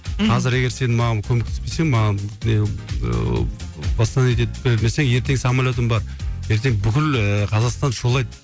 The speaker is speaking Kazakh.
мхм қазір егер сен маған көмектеспесең маған востановить етіп бермесең ертең самолетім бар ертең бүкіл ііі қазақстан шулайды